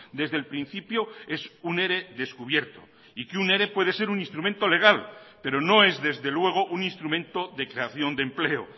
desde el principio es un ere descubierto y que un ere puede ser un instrumento legal pero no es desde luego un instrumento de creación de empleo